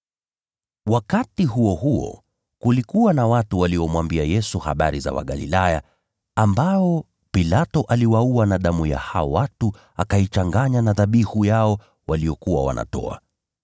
Wakati huo huo, kulikuwa na watu waliomwambia Yesu habari za Wagalilaya ambao Pilato aliwaua, na damu ya hao watu akaichanganya na dhabihu yao waliyokuwa wanatoa.